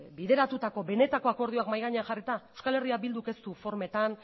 bideratutako benetako akordioak mahai gainean jarrita euskal herria bilduk ez du formetan